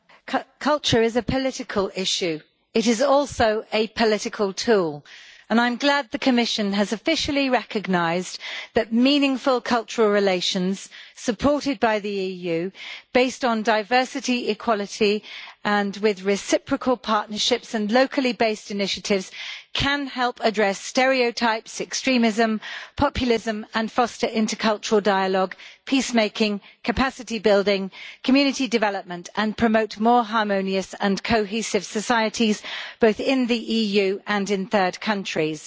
Madam President, culture is a political issue. It is also a political tool, and I am glad the Commission has officially recognised that meaningful cultural relations supported by the EU, based on diversity, equality and with reciprocal partnerships and locally based initiatives can help address stereotypes, extremism and populism, foster intercultural dialogue, peace making, capacity building and community development, and promote more harmonious and cohesive societies, both in the EU and in third countries.